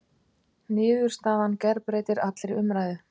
Niðurstaðan gerbreytir allri umræðu